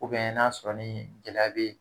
n'a sɔrɔ ni gɛlɛya bɛ yen